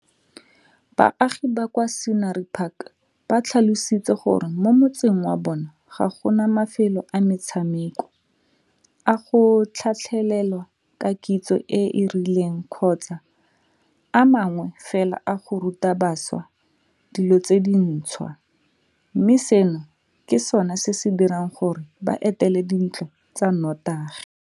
Baagi ba kwa Scenery Park ba tlhalositse gore mo motseng wa bona ga go na mafelo a metshameko, a go tlhatlhelelwa ka kitso e e rileng kgotsa a mangwe fela a go ruta bašwa dilo tse dintšhwa, mme seno ke sona se se dirang gore ba etele dintlo tsa notagi.